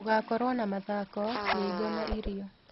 ũgakorwo na mathako, nyĩmbo na irio.